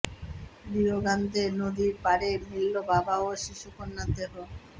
Rio Grande নদীর পাড়ে মিলল বাবা ও শিশুকন্যার দেহ